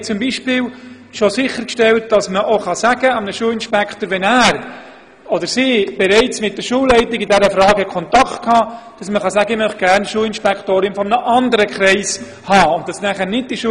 Wir haben bereits sichergestellt, dass man beispielsweise einem Schulinspektor sagen kann, man möchte gerne eine Schulinspektorin eines anderen Kreises haben, wenn er in dieser Frage bereits mit der Schulleitung Kontakt hatte.